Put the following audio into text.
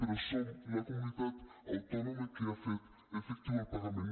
però som la comunitat autònoma que ha fet efectiu el pagament